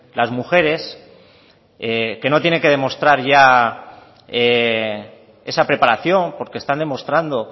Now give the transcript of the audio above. las mujeres que no tienen que demostrar ya esa preparación porque están demostrando